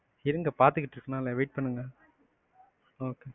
இருங்க பாத்துட்டு இருக்கேன்ல wait பண்ணுங்க okay.